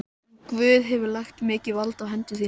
En Guð hefur lagt mikið vald í hendur þínar.